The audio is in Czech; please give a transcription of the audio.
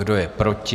Kdo je proti?